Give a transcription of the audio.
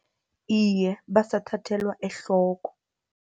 Iye, basathathelwa ehloko.